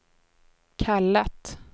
kallat